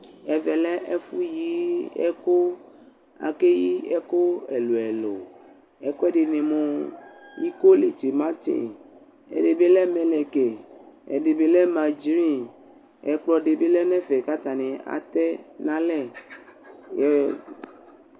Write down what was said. Ɛvɛ lɛ ɛfʋyɩɛkʋ Akeyi ɛkʋ ɛlʋ ɛlʋ Ɛkʋ ɛdɩnɩ mʋ ikolitimati Ɛdɩ bɩ lɛ mɛlɛkɩ, ɛdɩ bɩ lɛ madzi Ɛkplɔ dɩnɩ bɩ alɛ nʋ ɛfɛ kʋ atanɩ atɛnalɛ